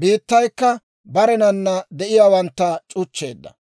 biittaykka barenan de'iyaawantta c'uchcheedda.